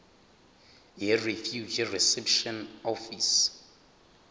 yirefugee reception office